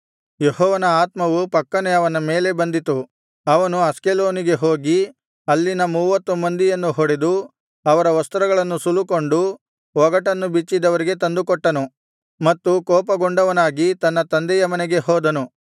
ಯೆಹೋವನ ಆತ್ಮವು ಫಕ್ಕನೆ ಅವನ ಮೇಲೆ ಬಂದಿತು ಅವನು ಅಷ್ಕೆಲೋನಿಗೆ ಹೋಗಿ ಅಲ್ಲಿನ ಮೂವತ್ತು ಮಂದಿಯನ್ನು ಹೊಡೆದು ಅವರ ವಸ್ತ್ರಗಳನ್ನು ಸುಲುಕೊಂಡು ಒಗಟನ್ನು ಬಿಚ್ಚಿದವರಿಗೆ ತಂದುಕೊಟ್ಟನು ಮತ್ತು ಕೋಪಗೊಂಡವನಾಗಿ ತನ್ನ ತಂದೆಯ ಮನೆಗೆ ಹೋದನು